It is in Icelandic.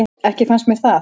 Ekki fannst mér það.